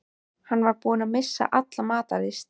Hann var búinn að missa alla matar lyst.